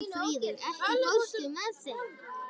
Málfríður, ekki fórstu með þeim?